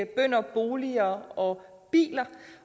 bønder boliger og biler